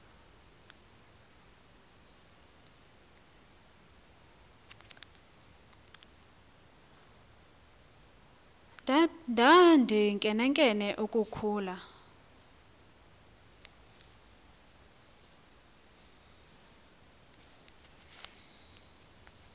ndandinkenenkene uku khula